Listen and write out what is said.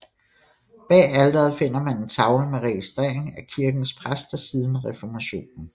Bag alteret finder man en tavle med registrering af kirkens præster siden reformationen